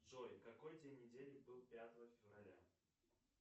джой какой день недели был пятого февраля